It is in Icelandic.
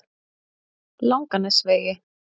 Langanesvegi